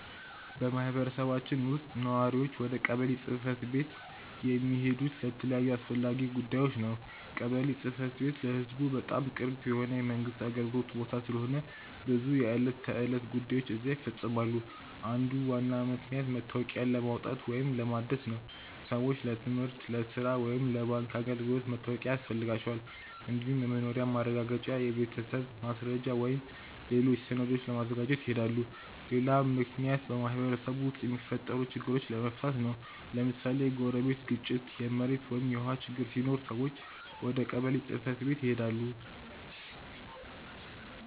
በማህበረሰባችን ውስጥ ነዋሪዎች ወደ ቀበሌ ጽ/ቤት የሚሄዱት ለተለያዩ አስፈላጊ ጉዳዮች ነው። ቀበሌ ጽ/ቤት ለህዝቡ በጣም ቅርብ የሆነ የመንግስት አገልግሎት ቦታ ስለሆነ ብዙ የዕለት ተዕለት ጉዳዮች እዚያ ይፈፀማሉ። አንዱ ዋና ምክንያት መታወቂያ ለማውጣት ወይም ለማደስ ነው። ሰዎች ለትምህርት፣ ለሥራ ወይም ለባንክ አገልግሎት መታወቂያ ያስፈልጋቸዋል። እንዲሁም የመኖሪያ ማረጋገጫ፣ የቤተሰብ ማስረጃ ወይም ሌሎች ሰነዶችን ለማግኘት ይሄዳሉ። ሌላ ምክንያት በማህበረሰቡ ውስጥ የሚፈጠሩ ችግሮችን ለመፍታት ነው። ለምሳሌ የጎረቤት ግጭት፣ የመሬት ወይም የውሃ ችግር ሲኖር ሰዎች ወደ ቀበሌ ጽ/ቤት ይሄዳሉ።